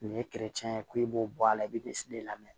Nin ye ye ko i b'o bɔ a la i bɛ lamɛn